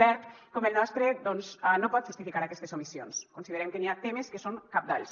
verd com el nostre doncs no pot justificar aquestes omissions considerem que n’hi ha temes que són cabdals